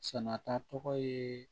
Sɛnɛta tɔgɔ ye